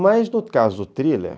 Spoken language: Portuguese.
Mas, no caso do thriller...